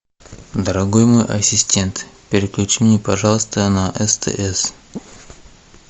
дорогой мой ассистент переключи мне пожалуйста на стс